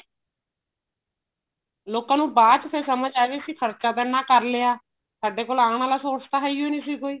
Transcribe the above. ਲੋਕਾ ਨੂੰ ਬਾਆਦ ਚ ਫ਼ਿਰ ਸਮਝ ਆਇਆ ਕੀ ਖ਼ਰਚਾ ਤਾਂ ਇੰਨਾ ਕ਼ਰ ਲਿਆ ਸਾਡੇ ਕੋਲ ਆਣ ਆਲਾ source ਤਾਂ ਹੈਈ ਨਹੀਂ ਸੀ ਕੋਈ